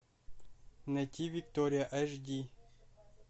найти виктория аш ди